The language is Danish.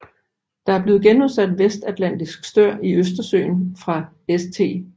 Der er blevet genudsat vestatlantisk stør i Østersøen fra St